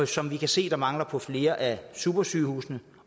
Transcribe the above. som vi kan se mangler på flere af supersygehusene